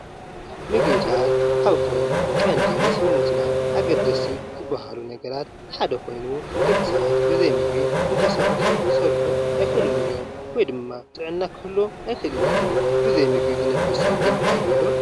ምግብታት ካብቶም ቀንዲ ንሰውነትና ኣገደስቲ ዝባሃሉ ነገራት ሓደ ኮይኑ ደቂ ሰባት ብዘይምግቢ ክንቀሳቀሱ ክሰርሑን ኣይክእሉም እዮም ወይ ድማ ጥዕና ክህልዎም ኣይክእልን እዩ፡፡ ብዘይምግቢ ዝነብር ሰብ ግን ኣሎዶ?